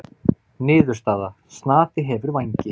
Niðurstaða: Snati hefur vængi.